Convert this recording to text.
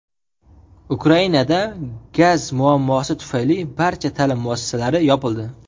Ukrainada gaz muammosi tufayli barcha ta’lim muassasalari yopildi.